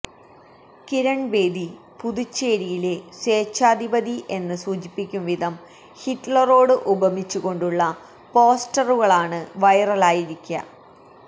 കിരൺ ബേദി പുതുച്ചേരിയിലെ സ്വേച്ചാധിപതി എന്ന് സൂചിപ്പിക്കും വിധം ഹിറ്റ്ലറോട് ഉപമിച്ചുകൊണ്ടുള്ള പോസ്റ്ററുകളാണ് വൈറലായിരിക്